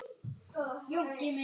Gerðist það núna?